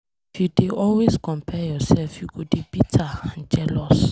If you dey always compare yourself, you go dey bitter and jealous.